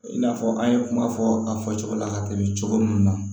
I n'a fɔ an ye kuma fɔ a fɔ cogo la ka tɛmɛ cogo min na